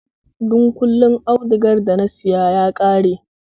Dunƙullen audugar da na saya ya ƙare